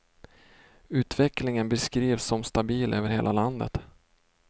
Utvecklingen beskrivs som stabil över hela landet.